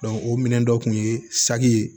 o minɛn dɔ kun ye saki ye